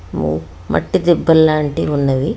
ఓ మట్టి దిబ్బ లాంటి ఉన్నవి.